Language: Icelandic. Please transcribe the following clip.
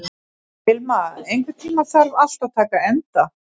Vilma, einhvern tímann þarf allt að taka enda.